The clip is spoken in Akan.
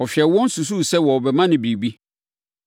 Ɔhwɛɛ wɔn susuu sɛ wɔbɛma no biribi.